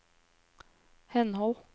henhold